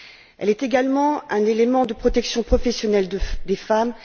Elle est également un élément de protection professionnelle des femmes.